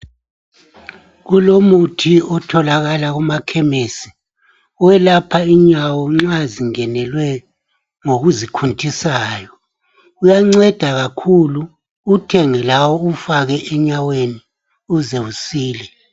Kulomuthi otholakala kuma khemisi oyelapha inyawo nxa zingenelwe ngokuzi khuntisayo. Uyanceda kakhulu, uwuthenge lawe uwufake enyaweni uze usile.